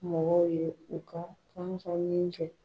Mɔgɔw ye u ka kɛ